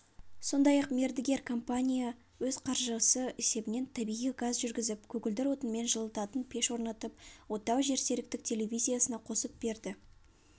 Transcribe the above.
сондай-ақ мердігер компания өз қаржысы есебінен табиғи газ жүргізіп көгілдір отынмен жылытатын пеш орнатып отау жерсеріктік телевизиясына қосып берді